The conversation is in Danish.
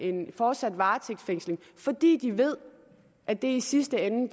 en fortsat varetægtsfængsling fordi de ved at det i sidste ende